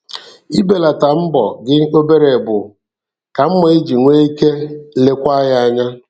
Ibelata mbọ gị obere bụ ka mma iji nwee ike lekwaa ya anya.